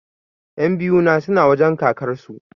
Ƴan biyu na suna wajen kakar su